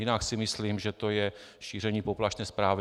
Jinak si myslím, že to je šíření poplašné pravdy.